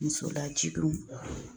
Muso lajiginw